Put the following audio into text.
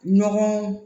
Ɲɔgɔn